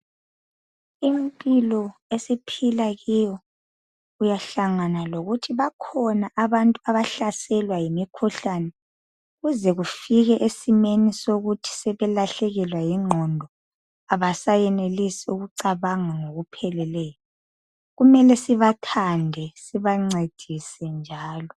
Impilo esiphila kiyo uyahlangana lokuthi bakhona abantu abahlaselwa yimikhuhlane kuze kufike esimeni sokuthi sebelahlekelwa yingqondo, abasayenelisi ukucabanga ngokupheleleyo. Kumele sibathande sibancedise njalo.